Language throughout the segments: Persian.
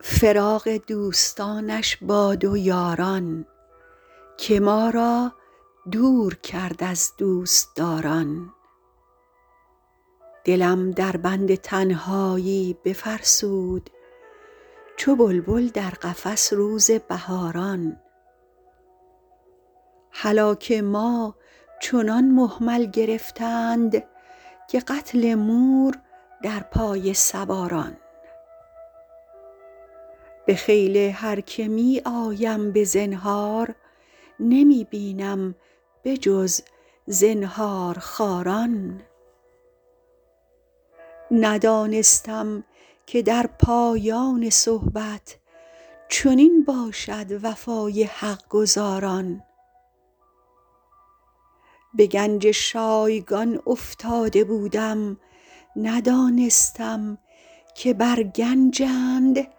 فراق دوستانش باد و یاران که ما را دور کرد از دوستداران دلم در بند تنهایی بفرسود چو بلبل در قفس روز بهاران هلاک ما چنان مهمل گرفتند که قتل مور در پای سواران به خیل هر که می آیم به زنهار نمی بینم به جز زنهارخواران ندانستم که در پایان صحبت چنین باشد وفای حق گزاران به گنج شایگان افتاده بودم ندانستم که بر گنجند ماران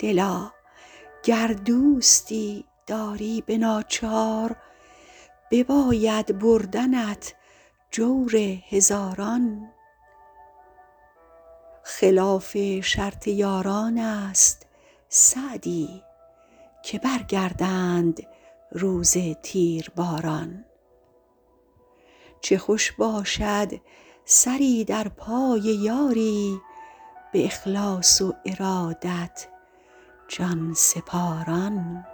دلا گر دوستی داری به ناچار بباید بردنت جور هزاران خلاف شرط یاران است سعدی که برگردند روز تیرباران چه خوش باشد سری در پای یاری به اخلاص و ارادت جان سپاران